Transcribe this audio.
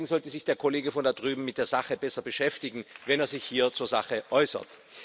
Deswegen sollte sich der Kollege von da drüben mit der Sache besser beschäftigen, wenn er sich hier zur Sache äußert.